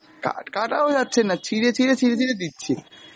কা~ কাটাও যাচ্ছেনা, ছিঁড়ে ছিঁড়ে, ছিঁড়ে ছিঁড়ে দিচ্ছি,